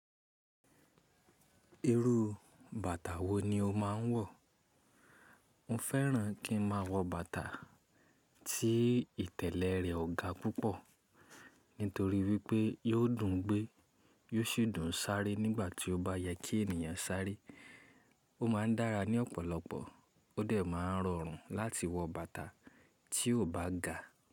Irú bàtà wo ni o máa ń wọ̀? Mo fẹ́ràn kí n máa wọ bàtà tí ìtẹ̀lẹ̀ rẹ̀ ò ga púpọ̀ nítorí wípé yóò dùn gbé, yóò sì dùn sáré nígbà tí ó bá yẹ kí ènìyàn sáré. Ó máa ń dára ní ọ̀pọ̀lọpọ̀, ó dẹ̀ máa ń rọrùn láti wọ bàtà tí ò bá ga.